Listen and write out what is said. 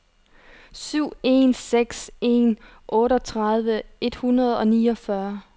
syv en seks en otteogtredive et hundrede og niogfyrre